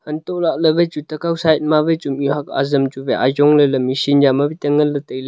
anto lah ley wai chu tekow side ma wai chu mih huak azam chu wai ajong ley ley machin ya ma ngan ley tailey.